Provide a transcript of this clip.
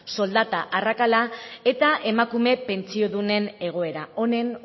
soldata arrakala eta emakume pentsiodunen egoera honen